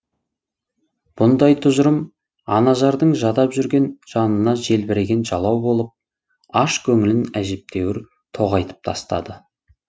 бұндай тұжырым анажардың жадап жүрген жанына желбіреген жалау болып аш көңілін әжептәуір тоғайтып тастады